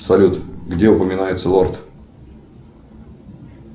салют где упоминается лорд